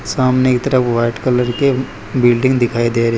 सामने की तरफ वाइट कलर के बिल्डिंग दिखाई दे रही--